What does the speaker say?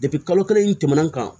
kalo kelen in tɛmɛna